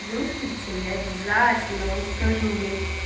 я обязательно вам скажу